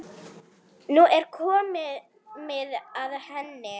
Nú er komið að henni.